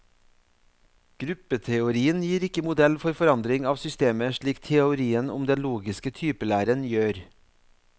Gruppeteorien gir ikke modell for forandring av systemet slik teorien om den logiske typelæren gjør.